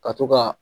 Ka to ka